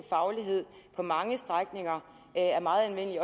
faglighed på mange strækninger er meget anvendelig